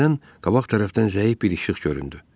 Birdən qabaq tərəfdən zəif bir işıq göründü.